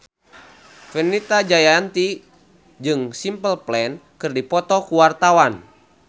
Fenita Jayanti jeung Simple Plan keur dipoto ku wartawan